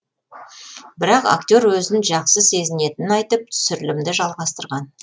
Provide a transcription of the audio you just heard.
бірақ актер өзін жақсы сезінетінін айтып түсірілімді жалғастырған